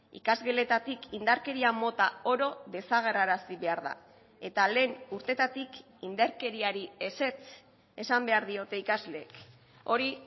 ikasgeletatik indarkeria mota oro desagerrarazi behar da eta lehen urteetatik indarkeriari ezetz esan behar diote ikasleek hori